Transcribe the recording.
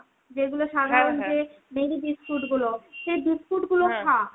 যেগুলো সাধারণ যে marie biscuit গুলো হয় সেই biscuit গুলো খা.